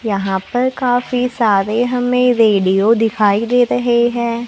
यहां पर काफी सारे हमें रेडियो दिखाई दे रहे हैं।